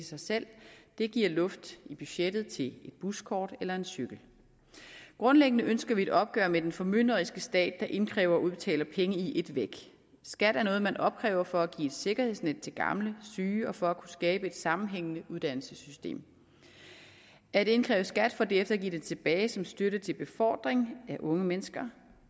sig selv det giver luft i budgettet til et buskort eller en cykel grundlæggende ønsker vi et opgør med den formynderiske stat der indkræver og udbetaler penge i et væk skat er noget man opkræver for at give et sikkerhedsnet til gamle og syge og for at kunne skabe et sammenhængende uddannelsessystem at indkræve skat for derefter at give den tilbage som støtte til befordring af unge mennesker